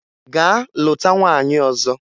Gaa lụta nwaanyị ọzọ!